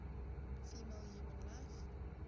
female human life